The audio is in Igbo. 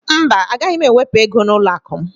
Mba, gaghị m ewepụ ego n'ụlọakụ m